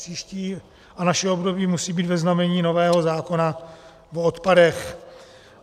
Příští a naše období musí být ve znamení nového zákona o odpadech.